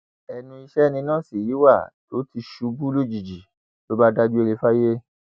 ẹnu iṣẹ ni nọọsì yìí wà tó ti ṣubú lójijì ló bá dágbére fáyé